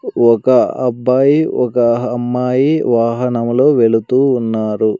ఒక అబ్బాయి ఒక అమ్మాయి వాహనంలో వెళుతూ ఉన్నారు.